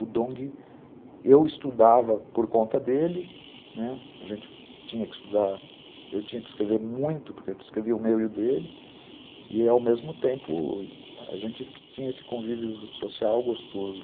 O Dong, eu estudava por conta dele, né, a gente tinha que estudar, eu tinha que escrever muito, porque eu escrevia o meu e o dele, e ao mesmo tempo a gente tinha esse convívio social gostoso.